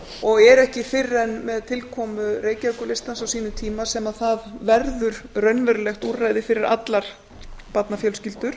og er ekki fyrr en með tilkomu reykjavíkurlistans á sínum tíma sem það verður raunverulegt úrræði fyrir allar barnafjölskyldur